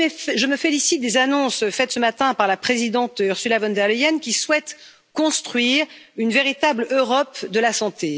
Je me félicite des annonces faites ce matin par la présidente Ursula von der Leyen, qui souhaite construire une véritable Europe de la santé.